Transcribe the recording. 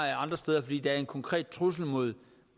andre steder fordi der er en konkret trussel mod